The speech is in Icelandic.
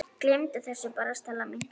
Gleymdu þessu bara, Stella mín.